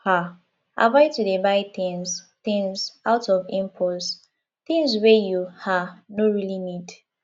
um avoid to dey buy things things out of impulse things wey you um no really need